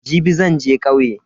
Jibi zan je kauye.